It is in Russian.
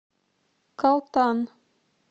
калтан